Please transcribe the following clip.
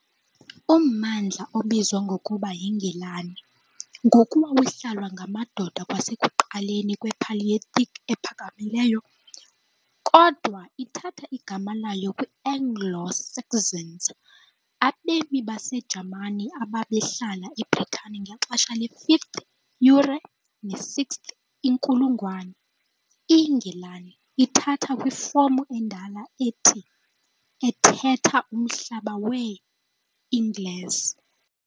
Ummandla obizwa ngokuba yiNgilani ngoku wawuhlalwa ngamadoda kwasekuqaleni kwePaleolithic ePhakamileyo, kodwa ithatha igama layo kwi- Anglo-Saxons, abemi baseJamani ababehlala eBritani ngexesha le- 5th kunye ne -6th inkulungwane, "INgilani" ithatha kwifomu endala ethi ' ethetha "uMhlaba wee-Angles".